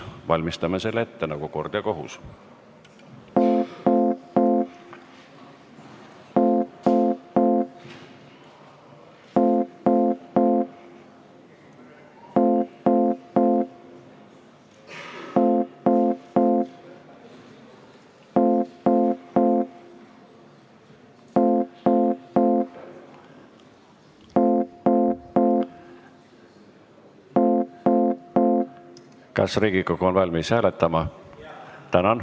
Valmistame selle ette nagu kord ja kohus.